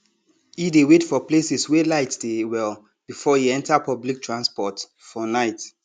e dey wait for places wey light dey well before e enter public transport for night